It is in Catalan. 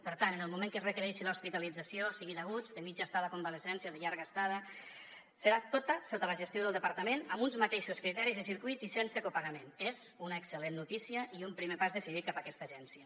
per tant en el moment que es requereixi l’hospitalització sigui d’aguts de mitja estada convalescència de llarga estada serà tota sota la gestió del departament amb uns mateixos criteris i circuits i sense copagament és una excel·lent notícia i un primer pas decidit cap a aquesta agència